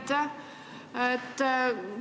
Aitäh!